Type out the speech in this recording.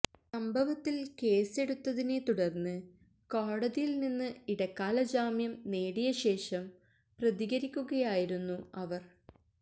സംഭവത്തിൽ കേസെടുത്തതിനെ തുടർന്ന് കോടതിയിൽ നിന്ന് ഇടക്കാല ജാമ്യം നേടിയ ശേഷം പ്രതികരിക്കുകയായിരുന്നു അവർ